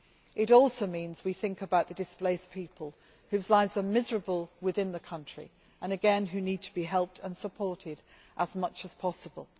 It also means that we think about the misplaced people whose lives are miserable within the country and, again, who need to be helped and supported as much as possible.